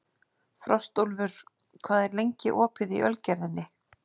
Frostúlfur, hvað er lengi opið í Ölgerðinni?